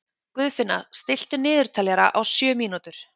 Guðfinna, stilltu niðurteljara á sjö mínútur.